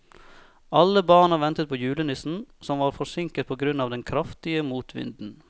Alle barna ventet på julenissen, som var forsinket på grunn av den kraftige motvinden.